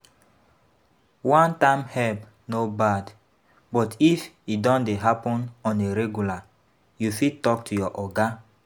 One time help no bad, but if e don dey happen on a regular you fit talk to your oga